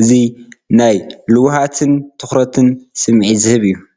እዚ ናይ ልውሃትን ትኹረትን ስምዒት ዝህብ እዩ።